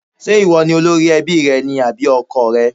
Ṣé ìwọ ni olórí ẹbí rẹ ni àbí ọkọọ̀ rẹ?